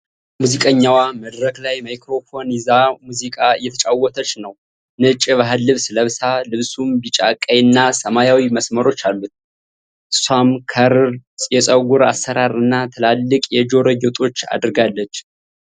ሙዚቀኘዋ መድረክ ላይ ማይክራፎን ይዛሙዚቃ እየተጫወተች ነው ። ነጭ የባህል ልብስ ለብሳ፣ ልብሱም ቢጫ፣ ቀይ እና ሰማያዊ መስመሮች አሉት። እሷም ከርል የፀጉር አሠራር እና ትላልቅ የጆሮ ጌጦች አድርጋለች።